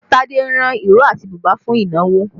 Tade ran ìró àti bùbá fún ìnáwó